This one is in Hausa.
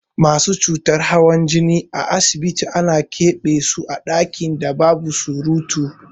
Masu cutar hawan jini a asibiti ana ƙebe so a ɗakin da babu surutu.